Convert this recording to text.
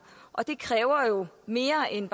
og det kræver jo mere end